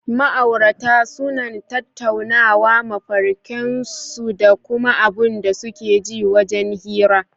Ma aurata sunan tattaunawa mafarken su dakuma abun da suke ji wajan hira